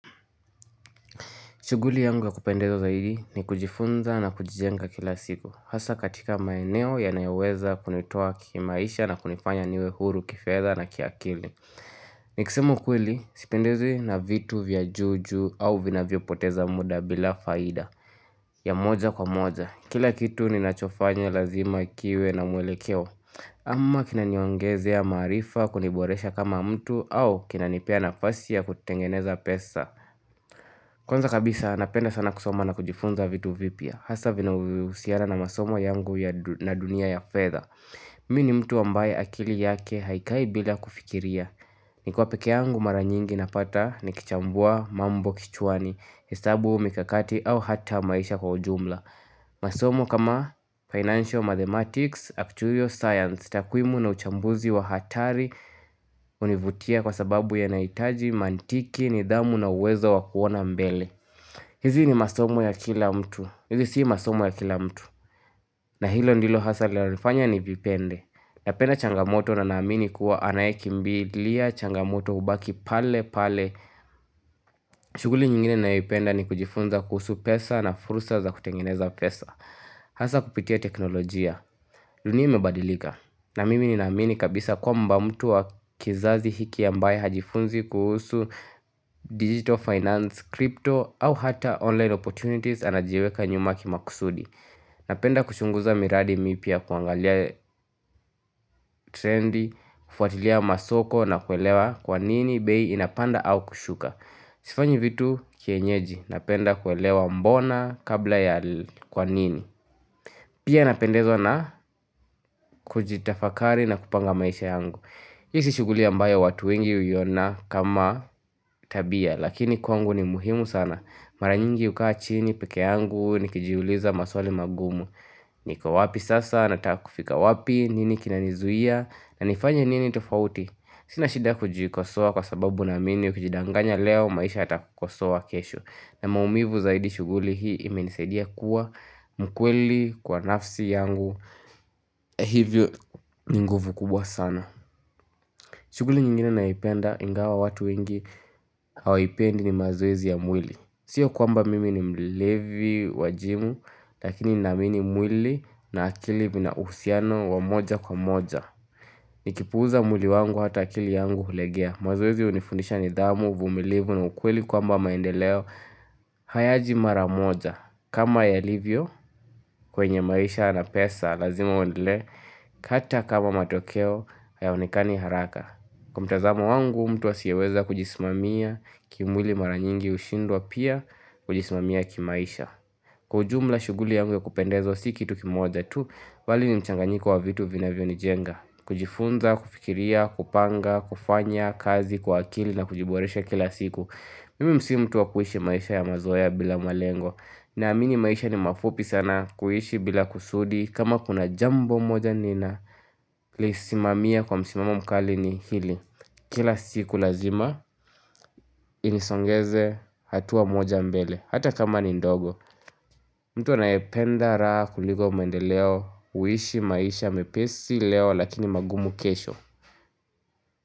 Shughuli yangu ya kupendezwa zaidi ni kujifunza na kujijenga kila siku. Hasa katika maeneo yanayoweza kunitoa kimaisha na kunifanya niwe huru kifedha na kiakili. Nikisema ukweli sipendezwi na vitu vya juu juu au vinavyopoteza muda bila faida ya moja kwa moja. Kila kitu ninachofanya lazima kiwe na muelekeo. Ama kinaniongezea ya maarifa kuniboresha kama mtu au kinanipea nafasi ya kutengeneza pesa. Kwanza kabisa napenda sana kusoma na kujifunza vitu vipya Hasa vinavyohusiana na masomo yangu na dunia ya fedha Mi ni mtu ambaye akili yake haikai bila kufikiria nikiwa pekee yangu mara nyingi napata nikichambua mambo kichwani hesabu mikakati au hata maisha kwa ujumla masomo kama Financial Mathematics, Actual science takwimu na uchambuzi wa hatari hunivutia kwa sababu yanahitaji mantiki nidhamu na uwezo wa kuona mbele hizi ni masomo ya kila mtu hizi si masomo ya kila mtu na hilo ndilo hasa linalonifanya nivipende Napenda changamoto na naamini kuwa anayekimbilia changamoto hubaki pale pale shughuli nyingine ninayoipenda ni kujifunza kuhusu pesa na fursa za kutengeneza pesa Hasa kupitia teknolojia dunia imebadilika na mimi ni ninaamini kabisa kwamba mtu wa kizazi hiki ambaye hajifunzi kuhusu digital finance, crypto au hata online opportunities anajiweka nyuma kimaksudi. Napenda kuchunguza miradi mipya ya kuangalia trendi, kufuatilia masoko na kuelewa kwa nini bei inapanda au kushuka. Sifanyi vitu kienyeji napenda kuelewa mbona kabla ya kwa nini. Pia napendezwa na kujitafakari na kupanga maisha yangu. Hii si shughuli ambayo watu wengi huiona kama tabia lakini kwangu ni muhimu sana Mara nyingi hukaa chini peke yangu nikijiuliza maswali magumu niko wapi sasa natakakufika wapi nini kinanizuia na nifanye nini tofauti Sina shida kujikosoa kwa sababu naamini ukijidanganya leo maisha yatakukosoa kesho na maumivu zaidi shughuli hii imenisaidia kuwa mkweli kwa nafsi yangu hivyo ni nguvu kubwa sana shughuli nyingine naipenda ingawa watu wengi hawaipendi ni mazoezi ya mwili. Sio kwamba mimi ni mlevi wa gym lakini naamini mwili na akili vina uhusiano wa moja kwa moja. Nikipuuza mwili wangu hata akili yangu hulegea. Mazoezi hunifundisha nidhamu, uvumilivu na ukweli kwamba maendeleo hayaji mara moja. Kama yalivyo kwenye maisha na pesa lazima uendelee, hata kama matokeo hayaonekani haraka. Kwa mtazamo wangu mtu asiyeweza kujisimamia kimwili mara nyingi hushindwa pia kujisimamia kimaisha. Kwa ujumla shughuli yangu ya kupendezwa si kitu kimoja tu bali ni mchanganyiko wa vitu vinavyo nijenga. Kujifunza, kufikiria, kupanga, kufanya, kazi, kwa akili na kujiboresha kila siku. Mimi si mtu wa kuishi maisha ya mazoea bila malengo naamini maisha ni mafupi sana kuishi bila kusudi kama kuna jambo moja ninalisimamia kwa msimamo mkali ni hili Kila siku lazima inisongeze hatua moja mbele Hata kama ni ndogo Mtuwa anayependa raha kuliko mwendeleo huishi maisha mepesi leo lakini magumu kesho.